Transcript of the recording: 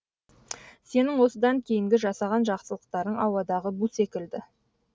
сенің осыдан кейінгі жасаған жақсылықтарың ауадағы бу секілді